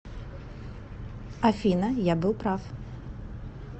афина я был прав